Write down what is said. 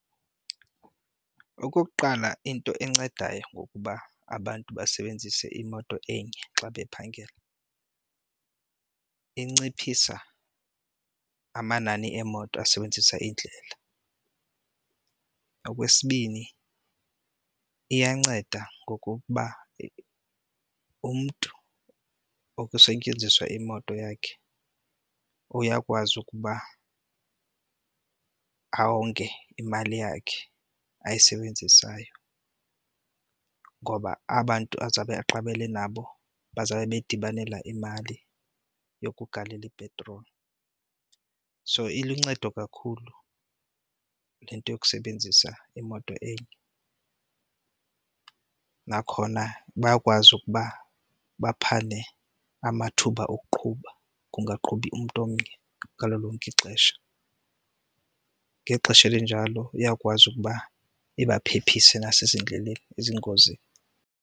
Okokuqala into encedayo ngokuba abantu basebenzise imoto enye xa bephangela, inciphisa amanani emoto asebenzisa iindlela. Okwesibini iyanceda ngokokuba umntu okusetyenziswa imoto yakhe uyakwazi ukuba onge imali yakhe ayisebenzisayo ngoba aba bantu azawube aqabele nabo bazawube bedibanela imali yokugalela ipetroli. So iluncedo kakhulu le nto yokusebenzisa imoto enye. Nakhona bayakwazi ukuba baphane amathuba okuqhuba, kungaqhubi umntu omnye ngalo lonke ixesha. Ngexesha elinjalo iyakwazi ukuba ibaphephise nasezindleleni ezingozini.